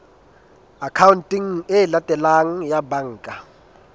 akhaonteng e latelang ya banka